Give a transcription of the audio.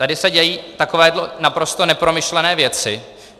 Tady se dějí takovéto naprosto nepromyšlené věci.